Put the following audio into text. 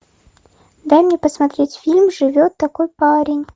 дай мне посмотреть фильм живет такой парень